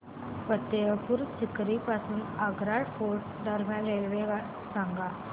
फतेहपुर सीकरी पासून आग्रा फोर्ट दरम्यान रेल्वे सांगा